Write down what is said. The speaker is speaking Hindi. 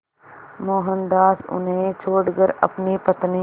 मोहनदास उन्हें छोड़कर अपनी पत्नी